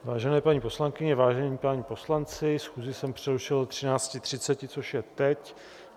Vážené paní poslankyně, vážení páni poslanci, schůzi jsem přerušil do 13.30, což je teď.